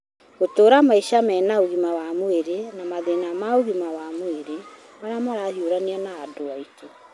gũtũra maica mena ũgima wa mwĩrĩ na mathĩna ma ũgima wa mwĩrĩ marĩa marahiũrania na andũ aitũ.